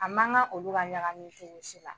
A man kan olu ka ɲagami fini si la